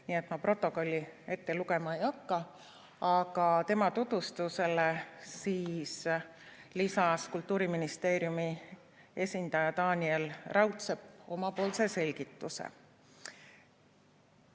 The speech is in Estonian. Nii et ma protokolli ette lugema ei hakka, aga tema tutvustusele siis lisas Kultuuriministeeriumi esindaja Taaniel Raudsepp omapoolse selgituse.